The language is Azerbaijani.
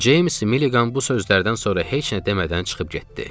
James Milligan bu sözlərdən sonra heç nə demədən çıxıb getdi.